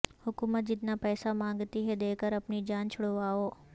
حکومت جتنا پیسا مانگتی ہے دیکر اپنی جان چھڑوائو